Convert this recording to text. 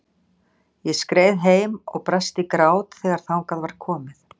Ég skreið heim og brast í grát þegar þangað var komið.